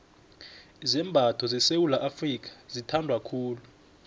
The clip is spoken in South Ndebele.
izambatho sesewula afrika azithandwa khulu